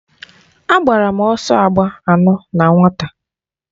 Agbara m ọsọ agba anọ na nwata.